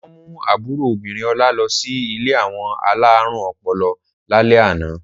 Wọ́n mú àbúrò obìnrin Ọlá lọ sí ilé àwọn alárùn ọpọlọ lálẹ́ àná.